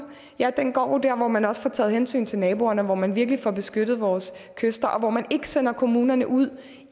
ja den går jo der hvor man også får taget hensyn til naboerne og hvor man virkelig får beskyttet vores kyster og hvor man ikke sender kommunerne ud